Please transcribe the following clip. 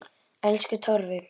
Elsku Torfi.